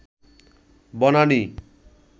Banani